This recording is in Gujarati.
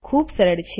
આ ખૂબ સરળ છે